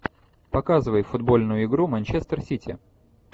показывай футбольную игру манчестер сити